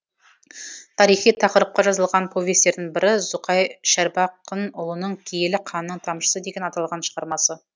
тарихи тақырыпқа жазылған повестердің бірі зұқай шәрбақынұлының киелі қанның тамшысы деген аталған шығармасы